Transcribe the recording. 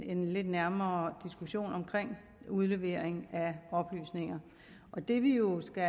en lidt nærmere diskussion om udlevering af oplysninger det vi jo skal